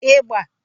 ịgba